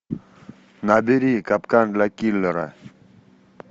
набери капкан для киллера